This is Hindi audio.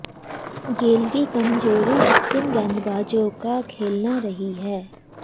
गेल की कमज़ोरी स्पिन गेंदबाज़ों का खेलना रही है